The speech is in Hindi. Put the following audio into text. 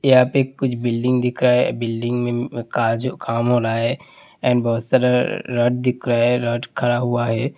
यहाँ पे कुछ बिल्डिंग दिख रहा है बिल्डिंग में का जो काम हो रहा है एंड बहुत सारा रॉड दिख रहा है है रॉड खड़ा हुआ है।